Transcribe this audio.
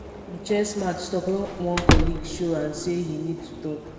di chess match stop when one colleague show and sey him need to talk